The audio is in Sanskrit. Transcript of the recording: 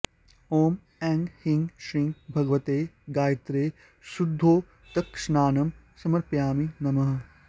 ॐ ऐं ह्रीं श्रीं भगवत्यै गायत्र्यै शुद्धोदकस्नानं समर्पयामि नमः